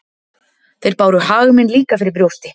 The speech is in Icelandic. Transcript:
Þeir báru hag minn líka fyrir brjósti.